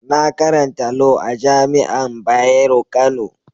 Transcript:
Na karanta Lau a'jami'an Bayero Kano.